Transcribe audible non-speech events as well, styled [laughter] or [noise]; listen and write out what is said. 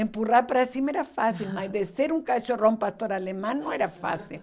Empurrar para cima era fácil [laughs] mas descer um cachorrão pastor alemão não era fácil [laughs]